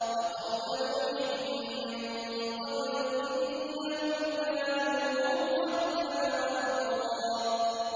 وَقَوْمَ نُوحٍ مِّن قَبْلُ ۖ إِنَّهُمْ كَانُوا هُمْ أَظْلَمَ وَأَطْغَىٰ